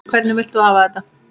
Hvernig vilt þú hafa þetta?